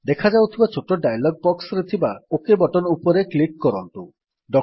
ଦେଖାଯାଉଥିବା ଛୋଟ ଡାୟଲଗ୍ ବକ୍ସରେ ଥିବା ଓକ୍ ଉପରେ କ୍ଲିକ୍ କରନ୍ତୁ